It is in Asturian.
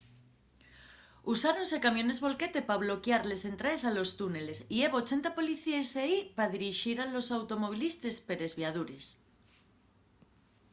usáronse camiones volquete pa bloquiar les entraes a los túneles y hebo 80 policíes ehí pa dirixir a los automovilistes per esviadures